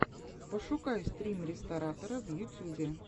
пошукай стрим ресторатора в ютьюбе